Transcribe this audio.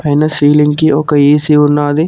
పైన సీలింగ్ కి ఒక ఏసీ ఉన్నాది.